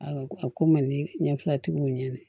A ko a ko man di ɲɛ fila tigiw ɲɛna